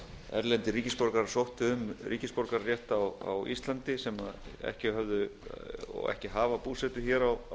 erlendir ríkisborgarar sóttu um ríkisborgararétt á íslandi sem ekki hafa búsetu hér á